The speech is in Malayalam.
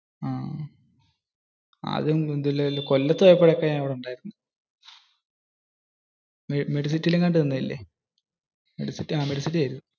അഹ്. കൊല്ലത്തു പോയപ്പോൾ ഒക്കെ medcity എങ്ങാണ്ടു നിന്നിലെ?